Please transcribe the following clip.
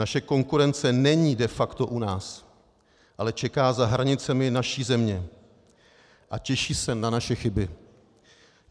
Naše konkurence není de facto u nás, ale čeká za hranicemi naší země a těší se na naše chyby.